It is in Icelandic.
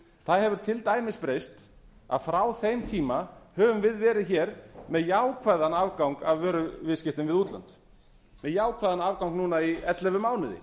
það hefur til dæmis breyst að frá þeim tíma höfum við verið með jákvæðan afgang af vöruviðskiptum við útlönd með jákvæðan afgang í ellefu mánuði